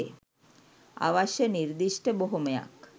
අවශ්‍ය නිර්දිෂ්ඨ බොහොමයක්